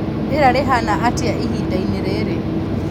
rĩera rĩhana atĩa ihinda-inĩ rĩrĩ